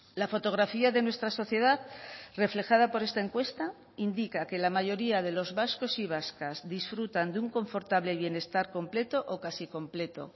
la fotografía de nuestra sociedad reflejada por esta encuesta indica que la mayoría de los vascos y vascas disfrutan de un confortable bienestar completo o casi completo